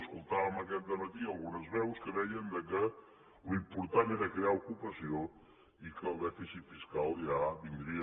escoltàvem aquest dematí algunes veus que deien que l’important era crear ocupació i que el dèficit fiscal ja vindria